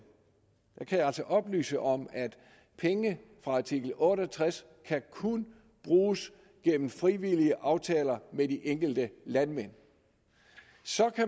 jeg kan oplyse om at penge fra artikel otte og tres kun kan bruges gennem frivillige aftaler med de enkelte landmænd